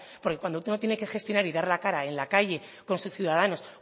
porque cuando tú no tienes que gestionar y dar la cara en la calle con sus ciudadanos